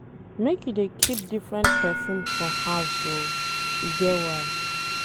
Make you dey keep different perfume for house o, e get why.